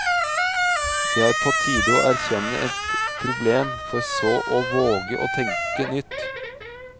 Det er på tide å erkjenne et problem, for så å våge å tenke nytt.